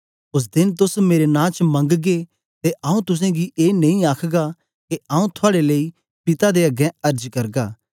ओस देन तोस मेरे नां च मंगगे ते आऊँ तुसेंगी ए नेई आखगा के आऊँ थुआड़े लेई पिता दे अगें अर्ज करगा